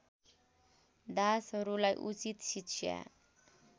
दासहरूलाई उचित शिक्षा